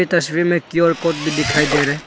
तस्वीर में Q R code भी दिखाई दे रहा है।